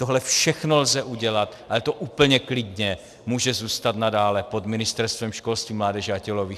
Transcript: Tohle všechno lze udělat, ale to úplně klidně může zůstat nadále pod Ministerstvem školství, mládeže a tělovýchovy.